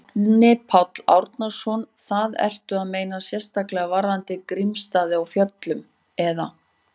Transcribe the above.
Árni Páll Árnason: Það, ertu að meina sérstaklega varðandi Grímsstaði á Fjöllum, eða?